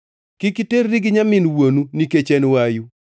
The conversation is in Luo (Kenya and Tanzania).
“ ‘Kik iterri gi nyamin wuonu nikech en wayu.